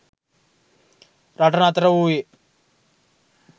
රට නතර වූයේ